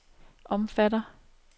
omfatter